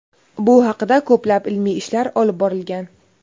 Bu haqida ko‘plab ilmiy ishlar olib borilgan.